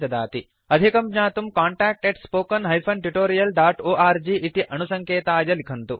अधिकं ज्ञातुं contactspoken tutorialorg इति अणुसङ्केताय लिखन्तु